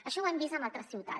això ho hem vist en altres ciutats